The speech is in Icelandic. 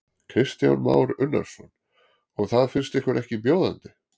Kristján Már Unnarsson: Og það finnst ykkur ekki bjóðandi?